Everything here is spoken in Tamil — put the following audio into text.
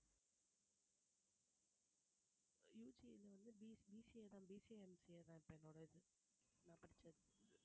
UG ல வந்து BCA தான் BCAMCA தான் இப்ப என்னோட இது நான் படிச்சது